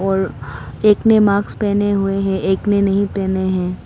और एक ने मास्क पहने हुए हैं एक ने नहीं पहने हैं।